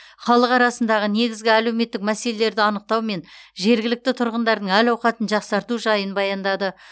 халық арасындағы негізгі әлеуметтік мәселелерді анықтау мен жергілікті тұрғындардың әл ауқатын жақсарту жайын баяндады